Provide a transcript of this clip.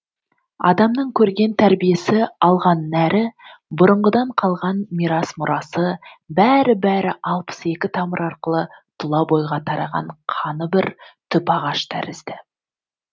адамның көрген тәрбиесі алған нәрі бұрынғыдан қалған мирас мұрасы бәрі бәрі алпыс екі тамыр арқылы тұла бойға тараған қаны бір түп ағаш тәрізді